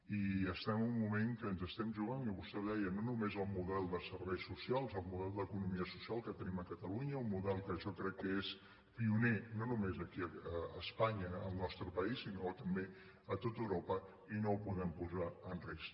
i estem en un moment que ens estem jugant i vostè ho deia no només el model de serveis socials el model d’eco·nomia social que tenim a catalunya un model que jo crec que és pioner no només aquí a espanya al nos·tre país sinó també a tot europa i no ho podem posar en risc